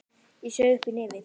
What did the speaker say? Ég saug upp í nefið.